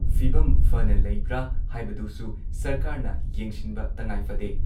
ꯐꯤꯚꯝ ꯐꯅ ꯂꯩꯕ꯭ꯔꯥ ꯍꯥꯏꯕꯗꯨꯁꯨ ꯁꯔꯀꯥꯔꯅ ꯌꯦꯡꯁꯤꯟꯕ ꯇꯉꯥꯏꯐꯗꯦ ꯫